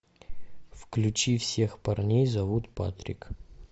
включи всех парней зовут патрик